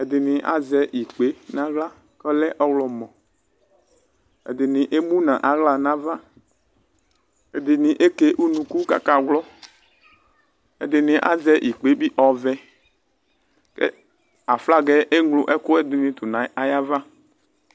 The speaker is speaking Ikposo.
ɛdininazɛ ikpe nʋ aɣla kʋ ɔlɛ ɔwlɔmɔ ɛdini emʋnʋ aɣla nʋ ava ɛdini eke ʋnʋkʋ kʋ akawlɔ ɛdini azɛ ikpe bi ɔvɛ kʋ aflagɛ eŋlo ɛkʋɛdini tʋnʋ ayava